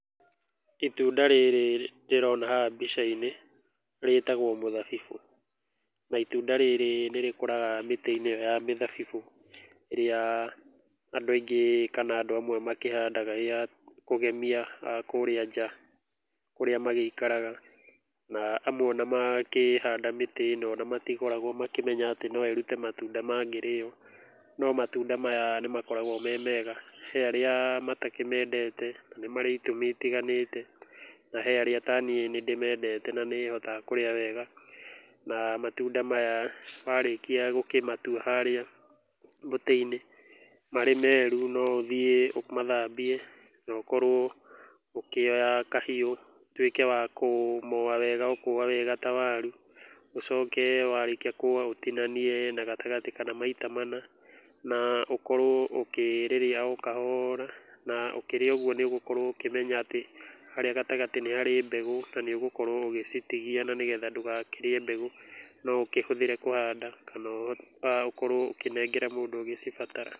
Itunda rĩrĩ ndĩrona haha mbica-inĩ rĩtagwo mũthabibũ na itunda rĩrĩ nĩ rĩkũraga mĩtĩ-inĩ ĩyo ya mĩthabibũ, ĩrĩa andũ aingĩ kana andũ amwe makĩhandaga ĩya kũgemia kũrĩa nja kũrĩa magĩikaraga. Na amwe ona makĩhanda mĩtĩ ĩno ona matikoragwo makĩmenya atĩ no ĩrute matunda mangĩrĩo. No matunda maya nĩ makoragwo me mega, he arĩa matakĩmendete na nĩ marĩ itũmi itiganĩte, na he arĩa ta niĩ nĩ ndĩmendete na nĩhotaga kũrĩa wega. Na matunda maya warĩkia gũkĩmatua harĩa mũtĩ-inĩ marĩ meru, no ũthiĩ ũmathambie, na ũkorwo ũkĩoya kahiũ ũtuĩke wa kũmoa wega ta waru. Ũcoke warĩkia kũmoa ũtinanie na gatagatĩ kana maita mana na ũkorwo ũkĩrĩrĩa o kahora. Na ũkĩrĩa ũguo nĩ ũgũkorwo ũkĩmenya atĩ harĩa gatagatĩ nĩ harĩ mbegũ, na nĩ ũgũkorwo ũgĩcitigia, na nĩgetha ndũkarĩe mbegũ. No ũkĩhũthĩre kũhanda kana ũkorwo ũkĩnengera mũndũ ũgũcibatara.